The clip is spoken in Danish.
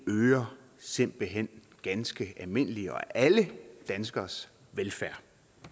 øger simpelt hen ganske almindelige og alle danskeres velfærd